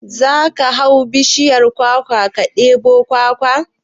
Za ka hau bishiyar kwakwa ka ɗebo kwakwa?